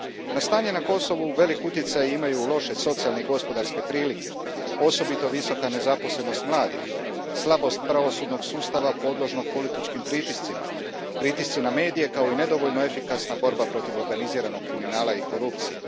Na stanje na Kosovu velik utjecaj imaju loše socijalne i gospodarske prilike, osobito visoka nezaposlenost mladih, slabost pravosudnog sustava podložnog političkim pritiscima, pritisci na medije kao i nedovoljno efikasna borba protiv organiziranog kriminala i korupcije.